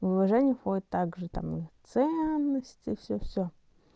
в уважение входят также там ценности и всё всё